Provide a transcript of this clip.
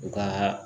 U ka